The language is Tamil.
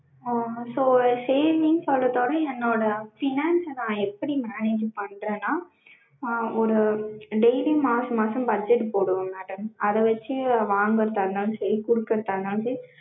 அஹ் so saving சொல்ட்ரதோட என்னோட finance நா எப்படி manage பண்றேனா ஆஹ் ஒரு daily மாச மாசம் budget போடுவோம் madam அத வச்சு வாங்கறதா இருந்தாலும் சரி கொடுக்றதா இருந்தாலும் சரி